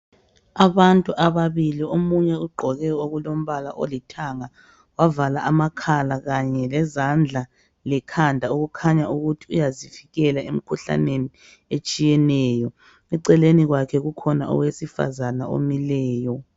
Abantu ababili omunye ugqoke okulombala olithanga wavala amakhala kanye lezandla lekhanda okukhanya ukuthi uyazivikela emkhuhlaneni etshiyeneyo. Eceleni kwakhe kukhona owesifazana omileyo.